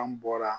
An bɔra